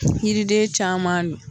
Yiriden caman dun